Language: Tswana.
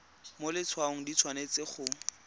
mo letshwaong di tshwanetse go